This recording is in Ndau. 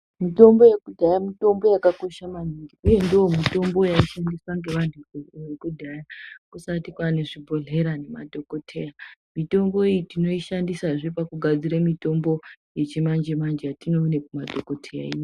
Mitombo yekudhaya mitombo yakakosha maningi, uye ndoo mitombo yaishandiswa ngevantu vekudhaya kusati kwaane zvibhodhlera nemadhokodheya. Mitombo iyi tinoishandisazve kugadzire mitombo yechimanje-manje yatinoone kumadhokodheyayo.